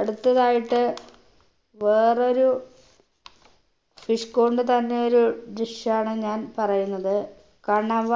അടുത്തതായിട്ട് വേറൊരു fish കൊണ്ട് തന്നെയൊരു dish ആണ് ഞാൻ പറയുന്നത് കണവ